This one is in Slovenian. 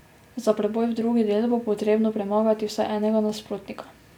Za preboj v drugi del bo potrebno premagati vsaj enega nasprotnika.